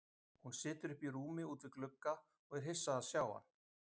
Hún situr uppi í rúmi út við glugga og er hissa að sjá hann.